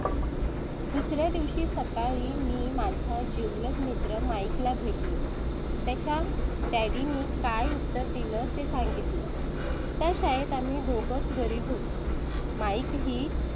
दुसर् या दिवशी सकाळी मी माझा जिवलग मित्र mick ला भेटलो. त्याच्या dad नी काय उत्तर दिलं ते सांगितलं त्या आहेत आम्ही दोघेच गरीब होतो. mick ही